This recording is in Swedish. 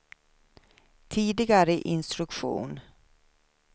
tidigare instruktion